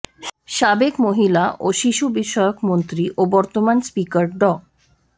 সাবেক মহিলা ও শিশু বিষয়ক মন্ত্রী ও বর্তমান স্পিকার ড